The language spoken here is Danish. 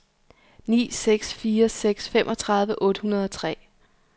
ni seks fire seks femogtredive otte hundrede og tre